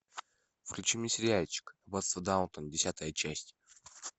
включи мне сериальчик аббатство даунтон десятая часть